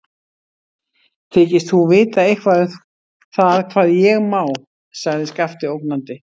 Þykist þú vita eitthvað um það hvað ég má, sagði Skapti ógnandi.